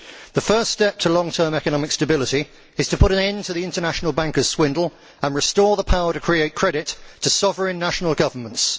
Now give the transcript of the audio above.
The first step to long term economic stability is to put an end to the international bankers' swindle and restore the power to create credit to sovereign national governments.